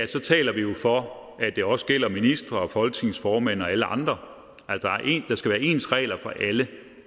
så taler vi jo for at det også gælder ministre og folketingets formand og alle andre der skal være ens regler for alle